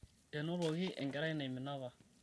enotoki enkerai naimina apa